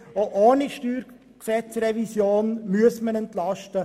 Auch ohne StG-Revision müssen wir entlasten.